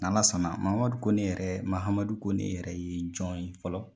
n'Ala sɔnna mamadu mahamadu kone yɛrɛ mahamadu kone yɛrɛ ye jɔn ye fɔlɔ